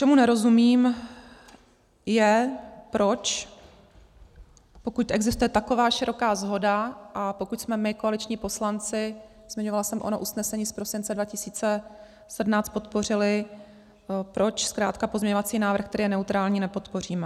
Čemu nerozumím, je, proč pokud existuje taková široká shoda a pokud jsme my koaliční poslanci, zmiňovala jsem, ono usnesení z prosince 2017 podpořili, proč zkrátka pozměňovací návrh, který je neutrální, nepodpoříme.